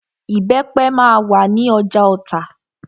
Ìbẹ́pẹ máa wà ní ọjà Ota.